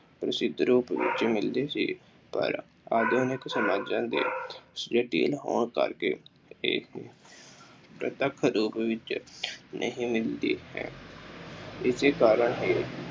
ਮਿਲਦੀ ਸੀ। ਪਰ ਆਧੁਨਿਕ ਸਮਾਜਾਂ ਦੇ ਹੋਣ ਕਰਕੇ ਇਹ ਪ੍ਰਤੱਖ ਰੂਪ ਵਿੱਚ ਨਹੀਂ ਮਿਲਦੀ ਹੈ। ਇਸੇ ਕਾਰਨ ਹੀ